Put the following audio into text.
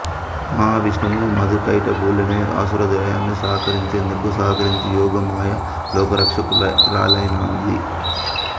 మహావిష్ణువు మధుకైటభులనే అసుర ద్వయాన్ని సంహరించేందుకు సహకరించి యోగమాయ లోకరక్షకురాలైనది